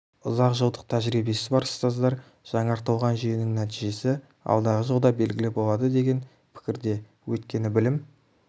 ұзақ жылдық тәжірибесі бар ұстаздар жаңартылған жүйенің нәтижесі алдағы жылда белгілі болады деген пікірде өйткені білім